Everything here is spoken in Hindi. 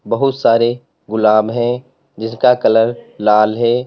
बहुत सारे गुलाब हैं जिसका कलर लाल है।